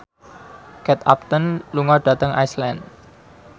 Kate Upton lunga dhateng Iceland